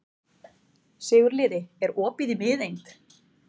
Sigurliði, er opið í Miðeind?